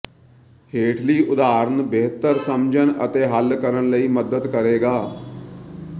ਹੇਠਲੀ ਉਦਾਹਰਨ ਬਿਹਤਰ ਸਮਝਣ ਅਤੇ ਹੱਲ ਕਰਨ ਲਈ ਮਦਦ ਕਰੇਗਾ